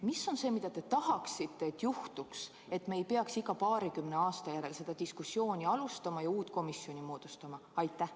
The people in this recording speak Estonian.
Mis on see, mida te tahaksite, et juhtuks, et me ei peaks iga paarikümne aasta järel seda diskussiooni alustama ja uut komisjoni moodustama?